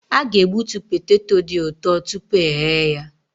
A ga-egbutu poteto dị ụtọ tupu eghe ya.